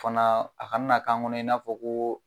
O fana, a kana na k'an kɔnɔ i n'a fɔ ko